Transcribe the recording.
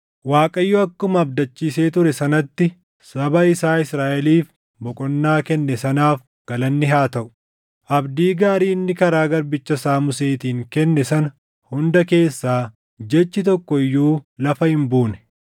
“ Waaqayyo akkuma abdachiisee ture sanatti saba isaa Israaʼeliif boqonnaa kenne sanaaf galanni haa taʼu. Abdii gaarii inni karaa garbicha isaa Museetiin kenne sana hunda keessaa jechi tokko iyyuu lafa hin buune.